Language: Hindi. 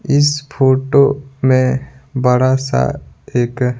इस फोटो में बड़ा सा एक --